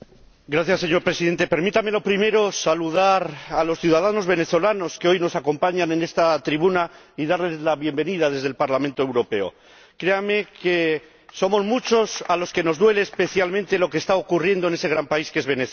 Señor Presidente, permítame lo primero saludar a los ciudadanos venezolanos que hoy nos acompañan en esta tribuna y darles la bienvenida desde el Parlamento Europeo. Créanme que somos muchos a los que nos duele especialmente lo que está ocurriendo en ese gran país que es Venezuela.